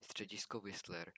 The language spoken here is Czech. středisko whistler